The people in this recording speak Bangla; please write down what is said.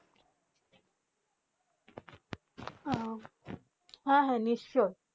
আ হেঁ হেঁ নিশ্চয়ই